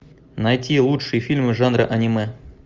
найти лучшие фильмы жанра аниме